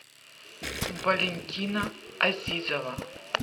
валентина азизова